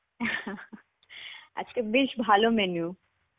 আজকে বেশ ভালো menu.